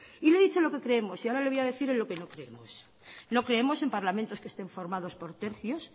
y le he dicho lo que creemos y ahora le voy a decir en lo que no creemos no creemos en parlamentos que estén formados por tercios